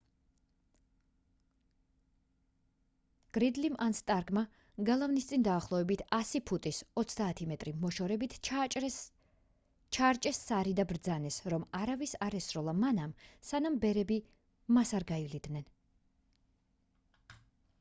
გრიდლიმ ან სტარკმა გალავნის წინ დაახლოებით 100 ფუტის 30 მ მოშორებით ჩაარჭეს სარი და ბრძანეს რომ არავის არ ესროლა მანამ სანამ ბერები მას არ გაივლიდნენ